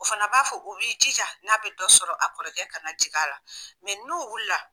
O fana b'a fɔ u b'i jija n'a bɛ dɔ sɔrɔ a kɔrɔkɛ ka na jigin a la, n'u wulila.